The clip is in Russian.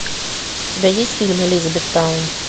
у тебя есть фильм элизабет таун